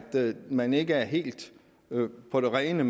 man ikke er helt på det rene